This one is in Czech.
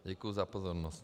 Děkuji za pozornost.